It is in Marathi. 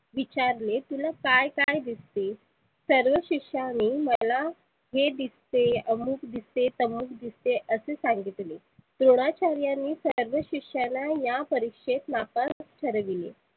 तुला काय काय दिसते? सर्व शिष्यानी मला हे दिसते अमुक दिसते, तमुक दिसते असे सांगितले. द्रोनाचार्यांनी सर्व शिष्याला या परिक्षेत नापास ठरविले.